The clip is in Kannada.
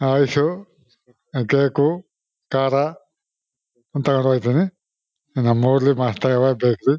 ಐಸೂ ಕೇಕು ಖಾರ ತಗೊಂಡ್ ಹೋಯ್ತಿನಿ ನಮ್ಮ್ ಊರ್ಲಿ ಮಸ್ತ್ ಗವಾ ಬೇಕ್ರಿ .